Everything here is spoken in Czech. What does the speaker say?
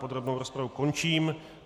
Podrobnou rozpravu končím.